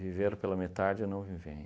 viver pela metade é não viver